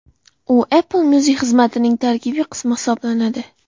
U Apple Music xizmatining tarkibiy qismi hisoblanadi.